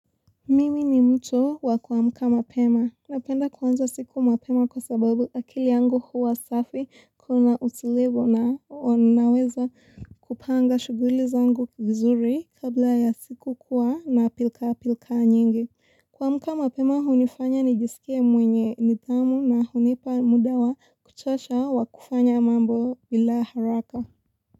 Mimi ni mtu wa kuamka mapema. Napenda kuanza siku mapema kwa sababu akili yangu huwa safi kuna utulivu na naweza kupanga shuguli zangu vizuri kabla ya siku kuwa na pilka pilka nyingi. Kuamka mapema hunifanya nijisikie mwenye nidhamu na hunipa muda wa kuchosha wa kufanya mambo bila haraka.